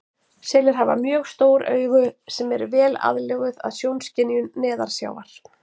Selir hafa mjög stór augu sem eru vel aðlöguð að sjónskynjun neðansjávar.